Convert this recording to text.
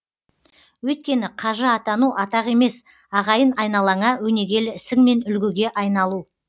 өйткені қажы атану атақ емес ағайын айналаңа өнегелі ісіңмен үлгіге айналу